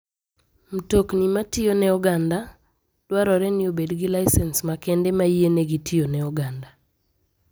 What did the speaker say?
Mtokni matiyo ne oganda dwarore ni obed gi lisens makende mayienegi tiyone oganda.